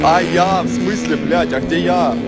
а я в смысле блядь а где я